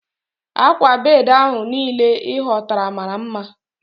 Akwa bedi ahu niile i hotara mara nma